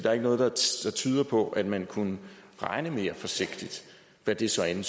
er ikke noget der tyder på at man kunne regne mere forsigtigt hvad det så end